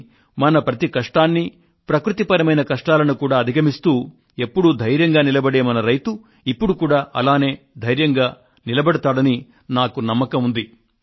కానీ మన ప్రతి కష్టాన్నీ ప్రకృతి విపత్తులను కూడా అధిగమిస్తూ ఎప్పుడూ ధైర్యంగా నిలబడే మన రైతు ఇప్పుడు కూడా అలానే ధైర్యంగా నిలబడతాడని నాకు నమ్మకం ఉంది